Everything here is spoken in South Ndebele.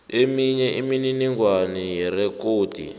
eminye imininingwana yerekhodi